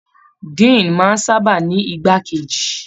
Diini máa n sábà ní igbà keji.